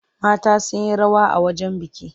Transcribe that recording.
Mata sun yi rawa a wajen biki.